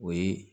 O ye